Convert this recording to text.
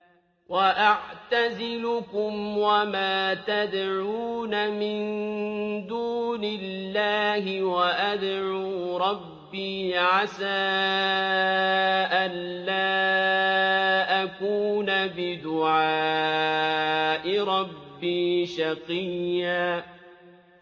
وَأَعْتَزِلُكُمْ وَمَا تَدْعُونَ مِن دُونِ اللَّهِ وَأَدْعُو رَبِّي عَسَىٰ أَلَّا أَكُونَ بِدُعَاءِ رَبِّي شَقِيًّا